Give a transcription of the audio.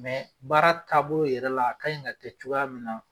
baara tabolo yɛrɛ la a kaɲi ka kɛ cogoya min na.